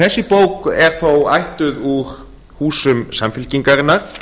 þessi bók er þó ættuð úr húsum samfylkingarinnar